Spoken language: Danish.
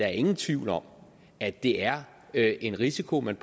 er ingen tvivl om at det er er en risiko man